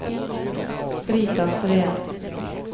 Brita Sveen